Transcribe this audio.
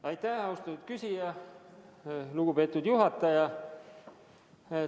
Aitäh, austatud küsija!